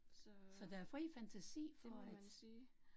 Så, det må man sige